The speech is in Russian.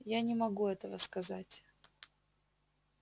я не могу этого сказать